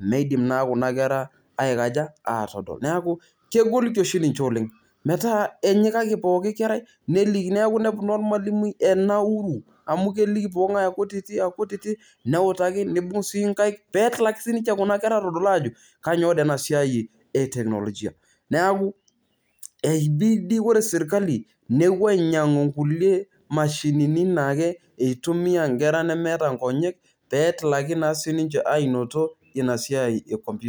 midilm naa kuna kera aikaja atadol, neaku kegol niche oleng metaa ore pooki kerai nelikini ormalimui enauru amu teniliki pooki nge enauru, neutaki neibung sii nkaek petalaki sinche kuna kera adol ajo kanyio toi enasiai e teknologia neaku etii dii ore serkali nepuobainyangu nkulie mashinini na keitumia nkera nemeta nkonyek petilaki na sinche ainoto inasiai e komputa.